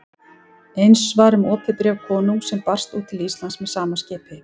Eins var um opið bréf konungs sem barst út til Íslands með sama skipi.